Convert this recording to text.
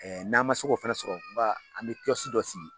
N'an ma se k'o fana o fana sɔrɔ ba an bɛ dɔ sigi